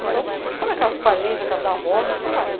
Então, quando é casa de parente, é casa da avó, né, você vai.